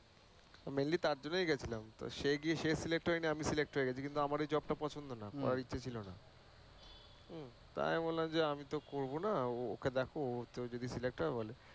Mainly তাঁর জন্যই গেছিলাম তো সে গিয়ে সে select হয়নি কিন্তু আমি select হয়ে গেছি। কিন্তু আমার ঐ job টা পছন্দ না, করার ইচ্ছে ছিলোনা। হুম, তা আমি বললাম যে আমি করবো না ও কে দেখো ও যদি select হয়, বলে